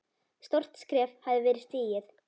Stórt skref hafði verið stigið.